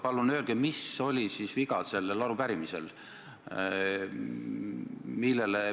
Palun öelge, mis sellel arupärimisel siis viga oli!